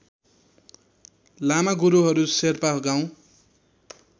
लामा गुरूहरू शेर्पा गाउँ